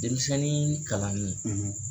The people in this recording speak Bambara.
Denmisɛnnin kalani